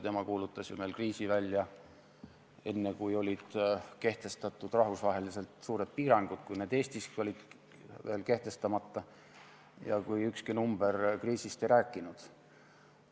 Tema ju kuulutas meil kriisi välja enne, kui olid kehtestatud rahvusvaheliselt suured piirangud ja kui need Eestiski olid veel kehtestamata ja kui ükski number kriisist ei rääkinud.